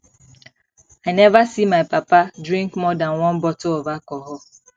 i never see my papa drink more dan one bottle of alcohol